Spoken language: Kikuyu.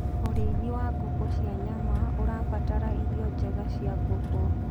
ũrĩithi wa ngũkũ cia nyama ũrabatara irio njega cia ngũkũ